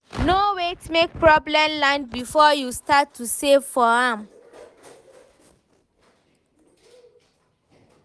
No wait make problem land before you start to save for am.